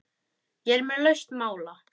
Ég er með lausn mála!